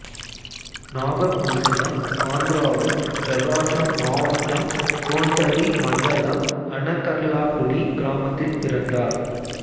நாகபூசணம் ஆந்திராவின் பிரகாசம் மாவட்டம் கோண்டபி மண்டலம் அனகர்லாபுடி கிராமத்தில் பிறந்தார்